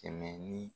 Kɛmɛ ni